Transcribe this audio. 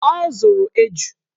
Ọ zụrụ eju